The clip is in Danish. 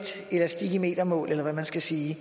elastik i metermål eller hvad man skal sige